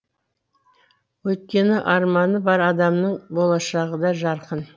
өйткені арманы бар адамның болашағы да жарқын